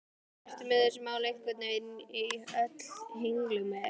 Eru þessi mál einhvern veginn öll í henglum eða hvað?